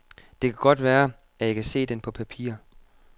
Det kan godt være, at jeg kan se den på papir.